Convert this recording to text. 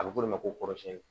A bɛ f'o de ma ko kɔrɔsiyɛnni